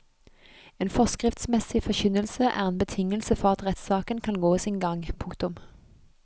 En forskriftsmessig forkynnelse er en betingelse for at rettssaken kan gå sin gang. punktum